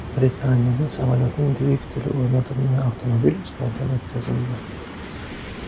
Britaniyada samolyotning dvigateli o‘rnatilgan avtomobil sinovdan o‘tkazildi .